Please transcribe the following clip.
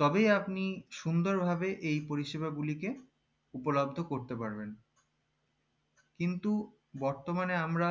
তবেই আপনি সুন্দর ভাবে এই পরিষেবা গুলিকে উপলব্দ করতে পারবেন কিন্তু বর্তমানে আমরা